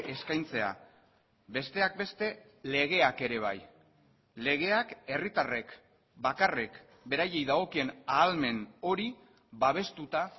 eskaintzea besteak beste legeak ere bai legeak herritarrek bakarrik beraiei dagokien ahalmen hori babestuta